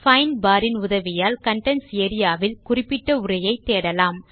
find bar இன் உதவியால் contents area வில் குறிப்பிட்ட உரையை தேடலாம்